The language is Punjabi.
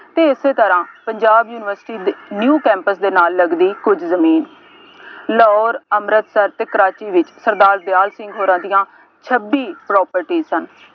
ਅਤੇ ਇਸੇ ਤਰ੍ਹਾਂ ਪੰਜਾਬ ਯੂਨੀਵਰਸਿਟੀ ਦੇ new campus ਦੇ ਨਾਲ ਲੱਗਦੀ ਕੁੱਝ ਜ਼ਮੀਨ ਲਾਹੌਰ, ਅੰਮ੍ਰਿਤਸਰ ਅਤੇ ਕਰਾਚੀ ਵਿੱਚ ਸਰਦਾਰ ਦਿਆਲ ਸਿੰਘ ਹੋਰਾਂ ਦੀਆਂ ਛੱਬੀ properties ਸਨ।